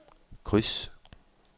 kryds